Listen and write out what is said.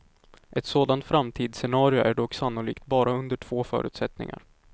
Ett sådant framtidsscenario är dock sannolikt bara under två förutsättningar.